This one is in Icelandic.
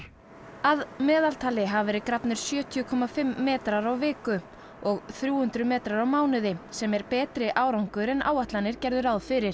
að meðaltali hafa verið grafnir sjötíu komma fimm metrar á viku og þrjú hundruð metrar á mánuði sem er betri árangur en áætlanir gerðu ráð fyrir